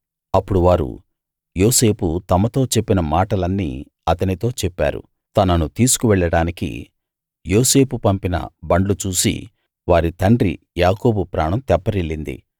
అప్పుడు వారు యోసేపు తమతో చెప్పిన మాటలన్నీ అతనితో చెప్పారు తనను తీసుకు వెళ్ళడానికి యోసేపు పంపిన బండ్లు చూసి వారి తండ్రి యాకోబు ప్రాణం తెప్పరిల్లింది